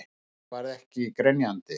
En ég verð ekki grenjandi.